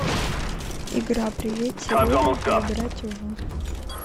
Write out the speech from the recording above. игра привет сереженька играть в